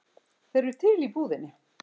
Þeir eru til í búðinni.